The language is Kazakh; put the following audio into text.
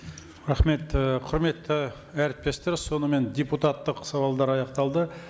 рахмет і құрметті әріптестер сонымен депутаттық сауалдар аяқталды